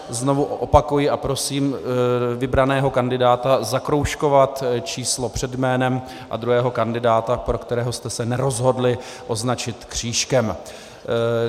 Znovu opakuji a prosím, vybraného kandidáta zakroužkovat číslo před jménem a druhého kandidáta, pro kterého jste se nerozhodli, označit křížkem.